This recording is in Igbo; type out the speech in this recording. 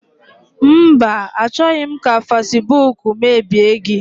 Mba, achọghị m ka fasibuuku mebie gị.